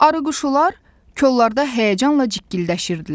Arıquşular kollarda həyəcanla cikkildəşirdilər.